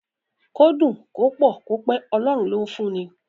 Kó dùn, kó pọ̀, kó pẹ́, Ọlọ́run ló ń fún ni.